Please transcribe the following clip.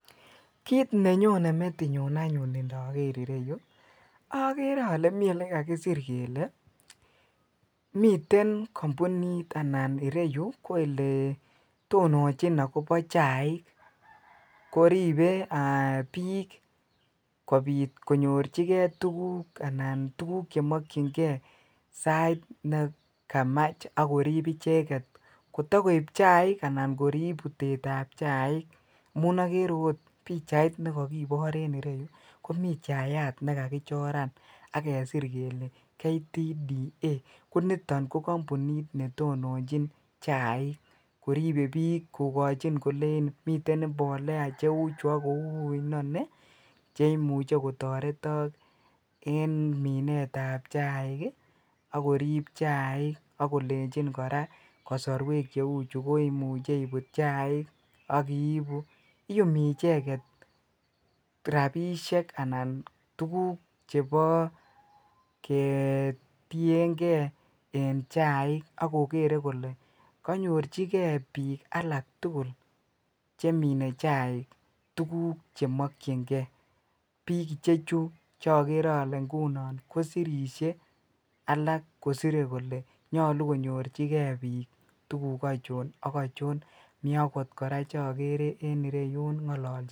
Kiit nenyone metinyun anyun indoker ireyu okere olee mii olekakisir kelee miten kombunit anan ireyu ko eletononjin akobo chaik koribe biik kobiit konyorchike tukuk anan tukuk chemokying'e sait nekamach ak koriib icheket kotokoib chaik anan koriib bitetab chaik amun okere oot pichait nekokibor en ireyu komii chayat nekakichoran ak kesir kelee KTDA koniton ko kombunit netononjin chaik koribe biik kolenchin miten mbolea cheuchu ak kou inonii cheimuche kotoretok en minetab chaik akorib chaik ak kolenchin kora kosorwek cheuchu koimuche ibut chaik ak ibuu, iyumi icheket rabishek anan tukuk chebo ketieng'e en chaik ak kokere kolee konyorchikee biik alak tukul chemine chaik tukuk chemokying'e, biik ichechu chokere ing'unon kosirishe alak kosire kolee nyolu konyorchikee biik tukuk achon ak achon, mii akot kora chokere en ireyun ng'ololchinge.